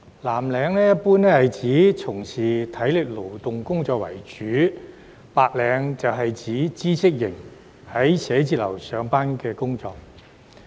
藍領一般是指主要從事體力勞動工作的人士，而白領則是指知識型、在辦公室上班的人士。